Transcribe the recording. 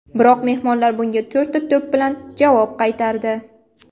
Biroq mehmonlar bunga to‘rtta to‘p bilan javob qaytardi.